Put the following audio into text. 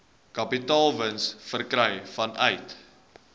kapitaalwins verkry vanuit